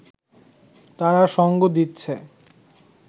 তারা সঙ্গ দিচ্ছে